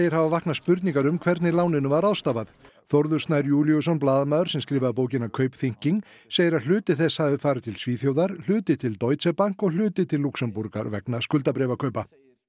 hafa vaknað spurningar um hvernig láninu var ráðstafað Þórður Snær Júlíusson blaðamaður sem skrifaði bókina Kaupthinking segir að hluti þess hafi farið til Svíþjóðar hluti til Deutsche Bank og hluti til Lúxemborgar vegna skuldabréfakaupa